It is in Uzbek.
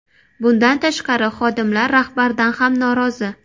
Bundan tashqari, xodimlar rahbardan ham norozi.